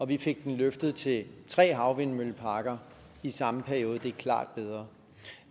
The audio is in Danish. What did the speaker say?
vi fik den løftet til tre havvindmølleparker i samme periode og det er klart bedre